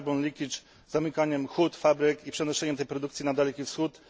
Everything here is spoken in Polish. carbon leakage zamykaniem hut, fabryk i przenoszeniem tej produkcji na Daleki Wschód.